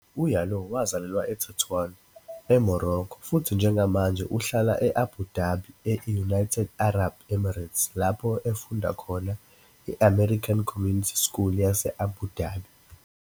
UYalouh wazalelwa eTetuan, eMorocco futhi njengamanje uhlala e-Abu Dhabi, e-United Arab Emirates lapho efunda khona i-American Community School yase-Abu Dhabi.